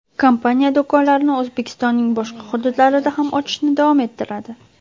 Kompaniya do‘konlarini O‘zbekistonning boshqa hududlarida ham ochishni davom ettiradi.